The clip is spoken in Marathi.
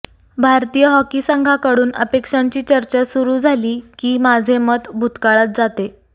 भारतीय हॉकी संघाकडून अपेक्षांची चर्चा सुरू झाली की माझे मत भूतकाळात जाते